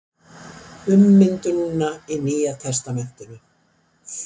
Ummyndunina í Nýja testamentinu.